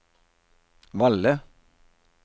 Valle